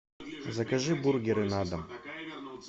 закажи бургеры на дом